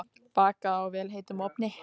Bakað í vel heitum ofni.